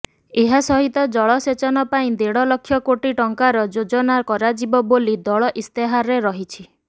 ଏହା ସହିତ ଜଳସେଚନ ପାଇଁ ଦେଢ଼ ଲକ୍ଷ କୋଟି ଟଙ୍କାର ଯୋଜନା କରାଯିବ ବୋଲି ଦଳ ଇସ୍ତାହାରରେ ରହିଛି